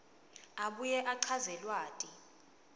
abuye achaze lwati